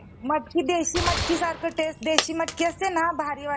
मटकी देशी मटकी सारखं taste, देशी मटकी असते ना भारी वाटते.